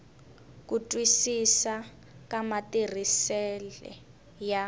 ku twisisa ka matirhisisele ya